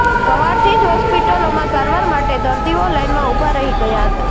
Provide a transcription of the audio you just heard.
સવારથી જ હોસ્પિટલોમાં સારવાર માટે દર્દીઓ લાઇનમાં ઉભા રહી ગયા હતાં